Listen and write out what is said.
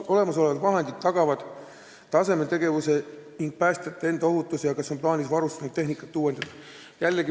Kas olemasolevad vahendid tagavad tasemel tegevuse ning päästjate enda ohutuse ja kas on plaanis varustust ning tehnikat uuendada?